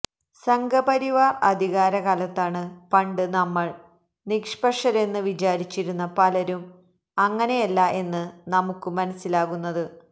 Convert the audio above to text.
സംഘപരിവാര് അധികാര കാലത്താണ് പണ്ട് നമ്മള് നിഷ്പക്ഷരെന്ന് വിചാരിച്ചിരുന്ന പലരും അങ്ങനെയല്ല എന്ന് നമുക്ക് മനസിലാകുന്നത്